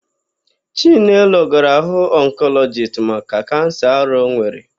Chinelo gara hụ ọnkọlọjist maka kansa ara ọ nwere.